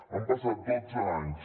han passat dotze anys